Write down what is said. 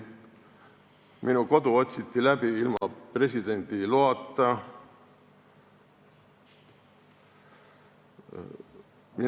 Minu kodu otsiti ilma presidendi loata läbi.